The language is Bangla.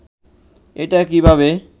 এটা কিভাবে